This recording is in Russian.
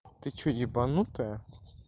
ты что ебанутая